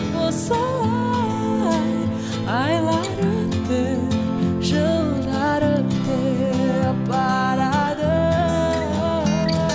осылай айлар өтіп жылдар өтіп барады